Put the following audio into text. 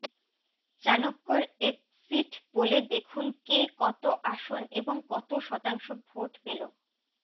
চাণক্যর exit পোলে দেখুন কে কত আসন এবং কত শতাংশ ভোট পেল